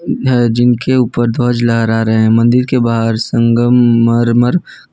जिनके ऊपर ध्वज लहरा रहे हैं मंदिर के बाहर संगमरमर।